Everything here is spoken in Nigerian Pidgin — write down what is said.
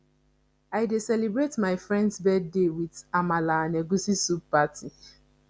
i dey celebrate my friends birthday with amala and egusi soup party